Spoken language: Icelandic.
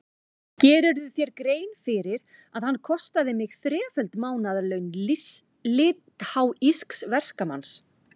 Gerirðu þér grein fyrir að hann kostaði mig þreföld mánaðarlaun litháísks verkamanns?